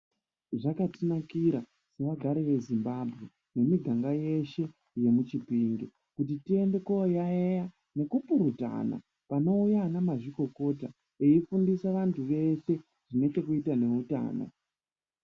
Zvakatinakira sevagari vezimbambwe nemiganga yeshe yemuchipinge. Kuti tiende koyaiya nekupurutana panouya anamazvikokota veifundisa vantu veshe zvine chekuita nehutano.